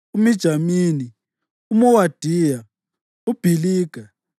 uMijamini, uMowadiya, uBhiliga,